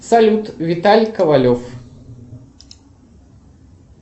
салют виталий ковалев